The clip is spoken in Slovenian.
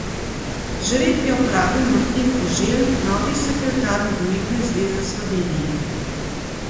Žreb je opravil Martin Koželj, novi sekretar Nogometne zveze Slovenije.